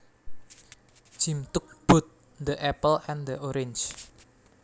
Jim took both the apple and the orange